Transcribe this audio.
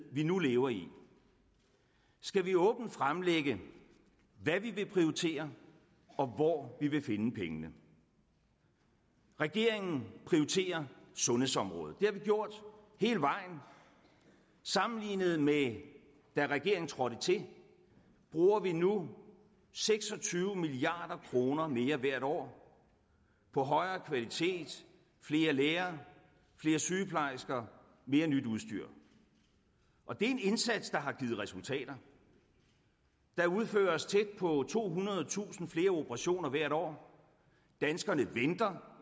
vi nu lever i skal vi åbent fremlægge hvad vi vil prioritere og hvor vi vil finde pengene regeringen prioriterer sundhedsområdet det har vi gjort hele vejen sammenlignet med da regeringen trådte til bruger vi nu seks og tyve milliard kroner mere hvert år på højere kvalitet flere læger flere sygeplejersker og mere nyt udstyr og det er en indsats der har givet resultater der udføres tæt på tohundredetusind flere operationer hvert år danskerne venter